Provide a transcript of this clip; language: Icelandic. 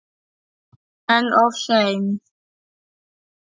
En of seinn.